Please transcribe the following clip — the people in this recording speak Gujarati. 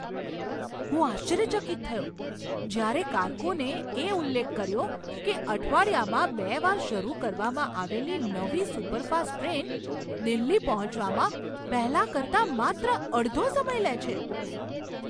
હું આશ્ચર્યચકિત થયો જ્યારે કારકુનએ ઉલ્લેખ કર્યો કે અઠવાડિયામાં બે વાર શરૂ કરવામાં આવેલી નવી સુપરફાસ્ટ ટ્રેન દિલ્હી પહોંચવામાં પહેલાં કરતાં માત્ર અડધો સમય લે છે!